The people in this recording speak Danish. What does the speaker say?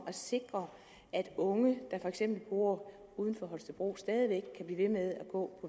at sikre at unge der for eksempel bor uden for holstebro stadig væk kan blive ved med at gå